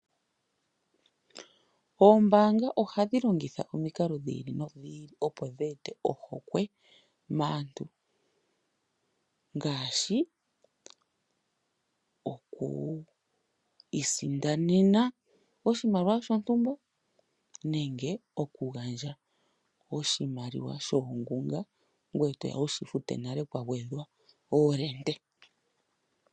Oombaanga ohadhi longitha omikalo dhi ili nodhi ili opo dhi eteko po ohokwe maantu ngaashi oku isindanena oshimaliwa shontumba nenge oku gandja oshimaliwa shoongunga ngoye toya wushi fute nale kwa gwedha oolende.